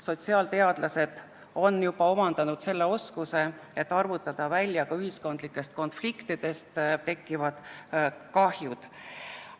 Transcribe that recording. Sotsiaalteadlased on juba omandanud oskuse arvutada välja ka ühiskondlikest konfliktidest tekkivad kahjud.